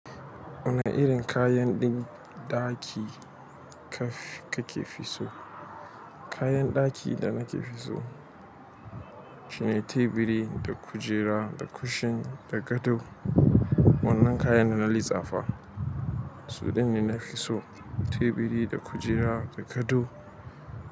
Wane irin kayan din ɗaki kaf ka ke fi so? Kayan ɗaki da nake fi so shine teburi da kujera da kushin da gado. Wannan kayan da na lisafa su dinne na fi so teburi da kujera da gado.